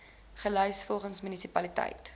gelys volgens munisipaliteit